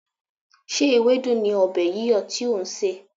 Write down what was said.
Ṣé ewédú ni ọbẹ̀ yíyọ̀ tí ò ń sè?